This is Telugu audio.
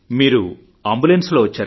మీరు అంబులెన్స్ లో వచ్చారా